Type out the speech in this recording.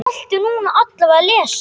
Sonur þinn.